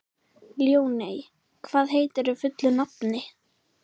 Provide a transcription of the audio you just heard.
Ljóney, hvað heitir þú fullu nafni?